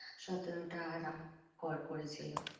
সতেরোটা রাতে কর~ করেছিল